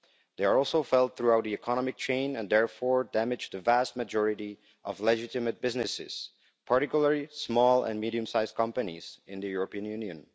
They are also felt throughout the economic chain and therefore damage the vast majority of legitimate businesses, particularly small and medium sized companies in the European Union.